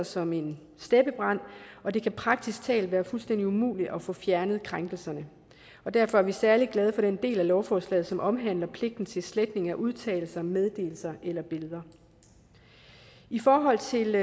som en steppebrand og det kan praktisk talt være fuldstændig umuligt at få fjernet krænkelserne derfor er vi særlig glade for den del af lovforslaget som omhandler pligten til sletning af udtalelser meddelelser eller billeder i forhold til